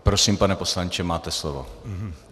Prosím, pane poslanče, máte slovo.